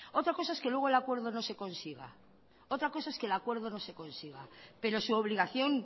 otra cosa es que luego el acuerdo no se consiga pero su obligación